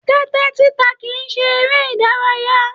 Tẹtẹ títa kìí ṣe eré ìdárayá.